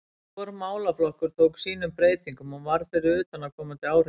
Hvor málaflokkur tók sínum breytingum og varð fyrir utanaðkomandi áhrifum.